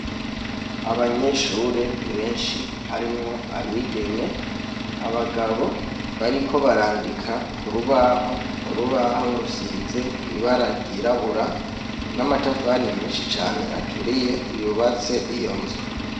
Abanyeshure benshi harimwo abigeme, abagabo bariko barandika ku rubaho, urubaho rusize ibara ryirabura, n'amatafari menshi cane aturiye yubatse iyo nzu.